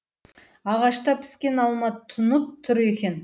ағашта піскен алма тұнып тұр екен